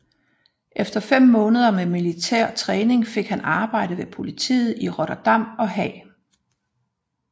Efter fem måneder med militær træning fik han arbejde ved politiet i Rotterdam og Haag